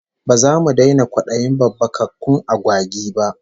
Ba zamu daina kwadayin babbakakkun agwagi ba